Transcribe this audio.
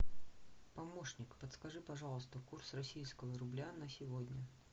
помощник подскажи пожалуйста курс российского рубля на сегодня